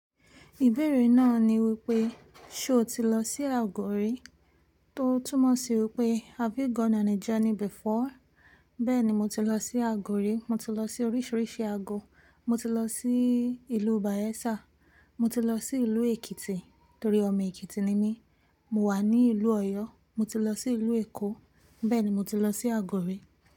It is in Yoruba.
Ibeere naa ni wipe, ṣe oti lọ si agọ ri? Tó túmọ̀ sí wípé have you gone on a journey before? Bẹ́ẹ̀ni, mo ti lọ sí àgọ̀ rí. Mo ti lọ sí oríṣiríṣi àgọ̀. Mo ti lọ sí ìlú Bayelsa, mo ti lọ sí ìlú Èkìtì torí ọmọ Èkìtì ni mí. Mo wà ní ìlú Ọ̀yọ́, mo ti lọ sí ìlú Èkó, bẹ́ẹ̀ ni mo ti lọ sí àgọ̀ rí.